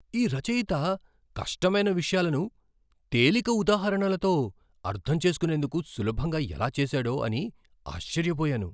ఈ రచయిత కష్టమైన విషయాలను తేలిక ఉదాహరణలతో అర్థం చేసుకునేందుకు సులభంగా ఎలా చేసాడో అని ఆశ్చర్యపోయాను.